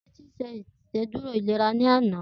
Titi ṣé Ìṣédùró ilérà lànã